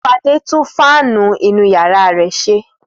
Fadé tún fáánù inú ìyàrá rẹ̀ ṣe.